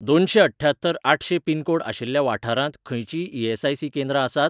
दोनशेंअठ्ठ्यात्तर आठशें पिनकोड आशिल्ल्या वाठारांत खंयचींय ई.एस.आय.सी. केंद्रां आसात?